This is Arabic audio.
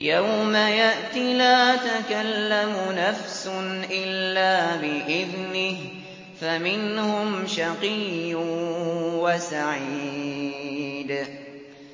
يَوْمَ يَأْتِ لَا تَكَلَّمُ نَفْسٌ إِلَّا بِإِذْنِهِ ۚ فَمِنْهُمْ شَقِيٌّ وَسَعِيدٌ